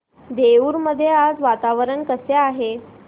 देऊर मध्ये आज वातावरण कसे आहे